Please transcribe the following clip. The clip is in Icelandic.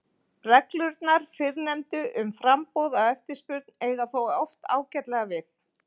En almennt geturðu verið nokkurn veginn viss um að svörin eru nokkurn veginn rétt!